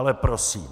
Ale prosím.